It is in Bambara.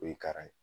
O ye kara ye